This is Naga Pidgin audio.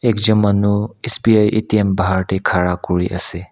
ekjun manu S_B_I A_T_M bahar ti kara kuri ase.